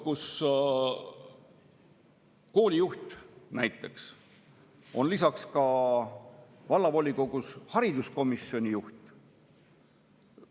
… koolijuht on vallavolikogus hariduskomisjoni juht.